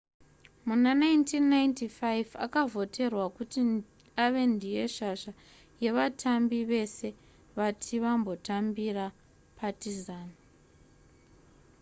muna 1995 akavhoterwa kuti ave ndiye shasha yevatambi vese vati vambotambira partizan